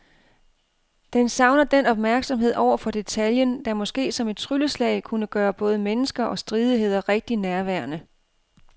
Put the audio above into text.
Den savner den opmærksomhed over for detaljen, der måske som et trylleslag kunne gøre både mennesker og stridigheder rigtig nærværende.